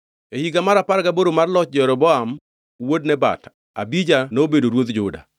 E higa mar apar gaboro mar loch Jeroboam wuod Nebat, Abija nobedo ruodh Juda,